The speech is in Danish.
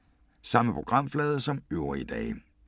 Samme programflade som øvrige dage